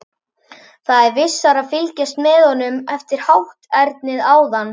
Það er vissara að fylgjast með honum eftir hátternið áðan.